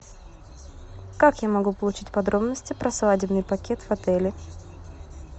как я могу получить подробности про свадебный пакет в отеле